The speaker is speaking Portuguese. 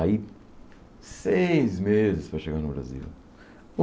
Aí, seis meses para chegar no Brasil.